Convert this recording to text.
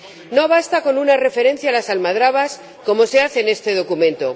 No basta con una referencia a las almadrabas, como se hace en este documento.